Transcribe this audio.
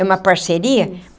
É uma parceria?